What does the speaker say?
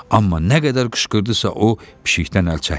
Amma nə qədər qışqırdısa o, pişikdən əl çəkmirdi.